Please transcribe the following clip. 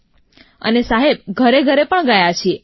જેમ કે એનએચસીવીસી અંતર્ગત અમે લોકો ઘરેઘરે ગયા છીએ